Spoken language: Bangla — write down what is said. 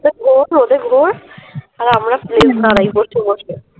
এটা আর আমরা বসে বসে